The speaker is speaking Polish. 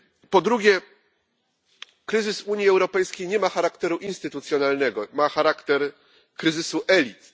Po drugie kryzys Unii Europejskiej nie ma charakteru instytucjonalnego, ma charakter kryzysu elit.